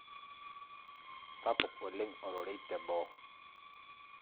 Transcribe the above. Sapuk oleng' ororei teboo